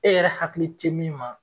E yɛrɛ hakili te min ma